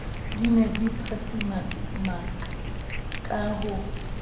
di ne di phatsimakaka ho